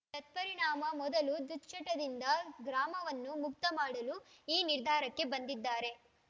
ತತ್ಪರಿಣಾಮ ಮೊದಲು ದುಶ್ಚಟದಿಂದ ಗ್ರಾಮವನ್ನು ಮುಕ್ತ ಮಾಡಲು ಈ ನಿರ್ಧಾರಕ್ಕೆ ಬಂದಿದ್ದಾರೆ